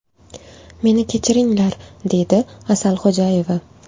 Meni kechiringlar”, deydi Asal Xo‘jayeva.